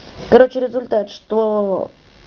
короче результат что